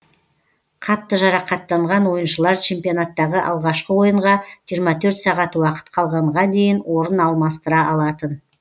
қатты жарақаттанған ойыншылар чемпионаттағы алғашқы ойынға жиырма төрт сағат уақыт қалғанға дейін орын алмастыра алатын